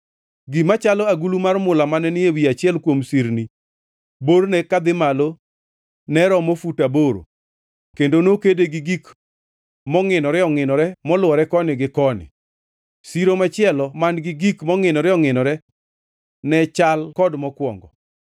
Gima chalo agulu mar mula mane ni e ewi achiel kuom sirni borne kadhi malo ne romo fut aboro kendo nokede gi gik mongʼinore ongʼinore molwore koni gi koni. Siro machielo man-gi gik mongʼinore ongʼinore, ne chal kod mokwongo.